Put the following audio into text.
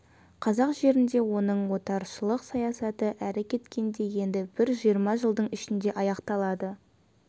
қазақ жерінде оның отаршылық саясаты әрі кеткенде енді бір жиырма жылдың ішінде аяқталады